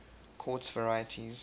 quartz varieties